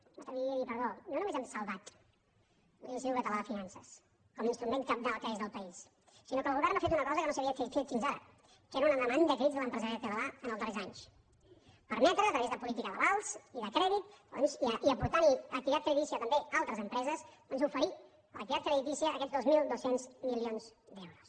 m’atreviria a dir ho perdó no només hem salvat l’institut català de finances com a instrument cabdal que és del país sinó que el govern ha fet una cosa que no s’havia fet fins ara que era una demanda a crits de l’empresariat català en els darrers anys permetre a través de política d’avals i de crèdit doncs i aportant hi activitat creditícia també altres empreses oferir activitat creditícia a aquests dos mil dos cents milions d’euros